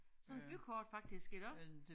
Sådan bykort faktisk iggå